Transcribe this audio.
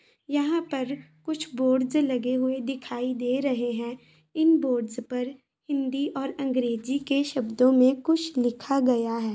यहाँ पर कुछ बोर्डस लगे हुए दिखाई दे रहे हैं इन बोर्डस पर हिन्दी और अंग्रेजी के शब्दों में कुछ लिखा गया है।